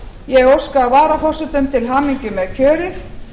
ég óska varaforsetum til hamingju með kjörið